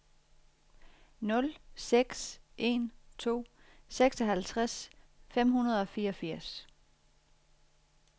nul seks en to seksoghalvtreds fem hundrede og fireogfirs